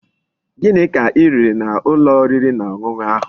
Gini ka I riri n'ulo oriri na onunu ahu?